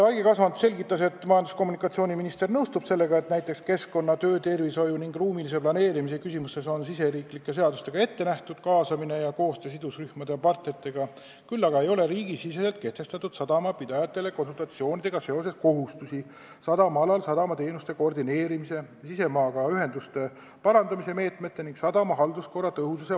Aigi Kasvand selgitas, et majandus- ja kommunikatsiooniminister nõustub sellega, et näiteks keskkonna-, töötervishoiu- ning ruumilise planeerimise küsimustes on riigisiseste seadustega juba ette nähtud kaasamine ja koostöö sidusrühmade ja partneritega, küll aga ei ole riigisiseselt kehtestatud sadamapidajate konsulteerimiskohustusi, mis puudutavad sadamaalal sadamateenuste koordineerimist, sisemaaga ühenduste parandamise meetmeid ning sadama halduskorra tõhusust.